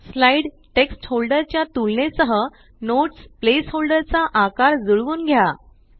slide text holder च्या तुलने सह नोट्स प्लेस होल्डर चा आकार जुळवून घ्या